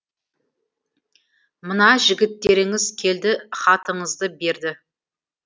мына жігіттеріңіз келді хатыңызды берді